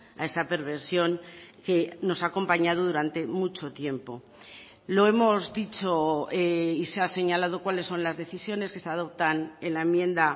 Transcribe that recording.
a esa perversión que nos ha acompañado durante mucho tiempo lo hemos dicho y se ha señalado cuales son las decisiones que se adoptan en la enmienda